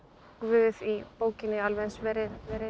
Guð í bókinni alveg eins verið